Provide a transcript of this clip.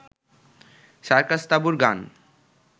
সার্কাস-তাঁবুর গান